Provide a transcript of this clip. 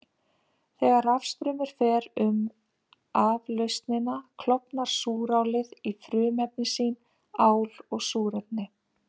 Þegar rafstraumur fer um raflausnina klofnar súrálið í frumefni sín, ál og súrefni.